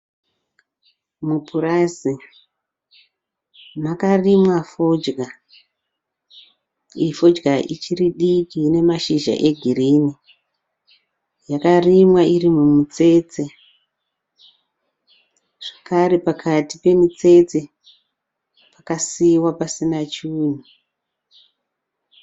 Mupurazi makarimwa fodya. Iyi fodya ichiri diki ine mashizha egirini yakarimwa iri mumutsetse zvakare pakati pemitsetse pakasiiwa pasina chinhu.